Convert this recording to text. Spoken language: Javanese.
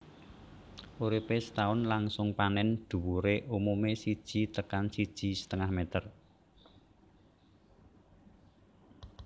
Uripé setaun langsung panèn dhuwuré umumé siji tekan siji setengah meter